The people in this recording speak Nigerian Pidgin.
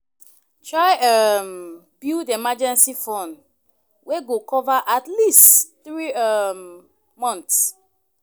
Try um build emergency fund wey go cover at least three um months